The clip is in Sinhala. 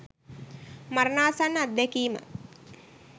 මරණාසන්න අත්දැකීම